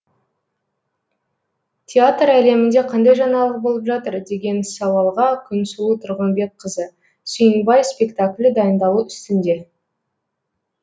театр әлемінде қандай жаңалық болып жатыр деген сауалға күнсұлу тұрғынбекқызы сүйінбай спектаклі дайындалу үстінде